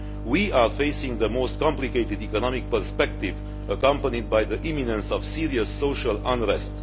We are facing a most complicated economic perspective accompanied by the imminence of serious social unrest.